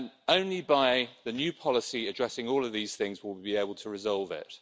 Only by the new policy addressing all of these things will we be able to resolve it.